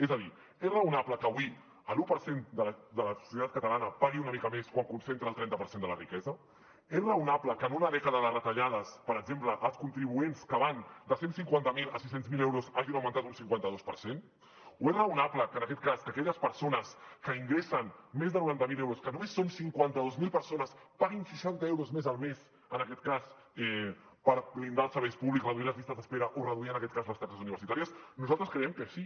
és a dir és raonable que avui l’un per cent de la societat catalana pagui una mica més quan concentra el trenta per cent de la riquesa és raonable que en una dècada de retallades per exemple als contribuents que van de cent i cinquanta miler a sis cents miler euros hagin augmentat un cinquanta dos per cent o és raonable que aquelles persones que ingressen més de noranta mil euros que només són cinquanta dos mil persones paguin seixanta euros més al mes per blindar els serveis públics reduir les llistes d’espera o reduir les taxes universitàries nosaltres creiem que sí